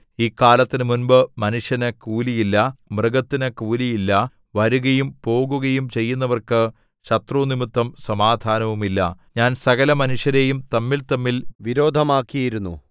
ഈ കാലത്തിന് മുമ്പ് മനുഷ്യന് കൂലിയില്ല മൃഗത്തിനു കൂലിയില്ല വരുകയും പോകുകയും ചെയ്യുന്നവർക്ക് ശത്രുനിമിത്തം സമാധാനവുമില്ല ഞാൻ സകലമനുഷ്യരെയും തമ്മിൽതമ്മിൽ വിരോധമാക്കിയിരുന്നു